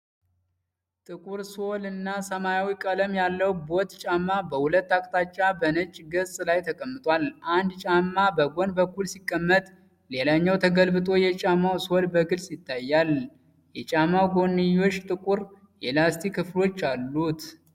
ጥቁር ሶልና ሰማያዊ ቀለም ያለው ቦት ጫማ በሁለት አቅጣጫዎች በነጭ ገጽ ላይ ተቀምጧል። አንድ ጫማ በጎን በኩል ሲቀመጥ ሌላው ተገልብጦ የጫማው ሶል በግልጽ ይታያል። የጫማው ጎንዮሽ ጥቁር የላስቲክ ክፍሎች አሉት።